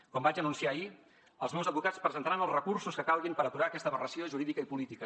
com vaig anunciar ahir els meus advocats presentaran els recursos que calguin per aturar aquesta aberració jurídica i política